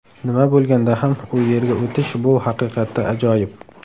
Nima bo‘lganda ham u yerga o‘tish bu haqiqatda ajoyib.